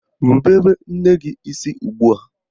Rubere nne gị isi ugbua!